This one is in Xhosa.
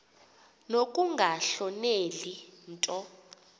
nokunga hloneli nto